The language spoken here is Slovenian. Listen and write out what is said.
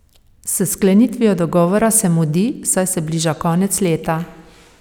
S sklenitvijo dogovora se mudi, saj se bliža konec leta.